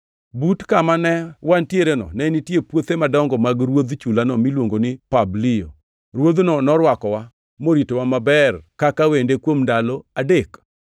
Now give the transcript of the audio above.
But kama newantiereno ne nitie puothe madongo mag ruodh chulano miluongo ni Publio. Ruodhno norwakowa, moritowa maber kaka wende kuom ndalo adek.